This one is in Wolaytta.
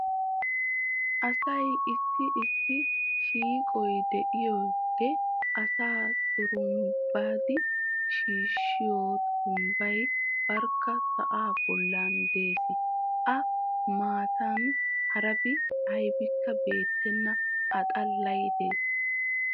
Asay issi issi shiiqqoy de"iyoode asaa turumbbidi shiishshiyo turumbbay barkka sa"aa bollan dees. A matan harabi aybikka beettenna a xallay dees.